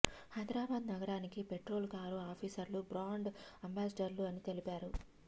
హైదరాబాద్ నగరానికి petrol car ఆఫీసర్లు brand అంబాసిడర్లు అని తెలిపారు